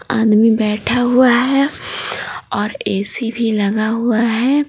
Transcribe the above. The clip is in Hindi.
आदमी बैठा हुआ है और ए_सी भी लगा हुआ है।